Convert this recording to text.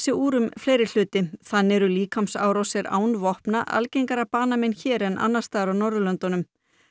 úr um fleiri hluti þannig eru líkamsárásir án vopna algengara banamein hér en annars staðar á Norðurlöndum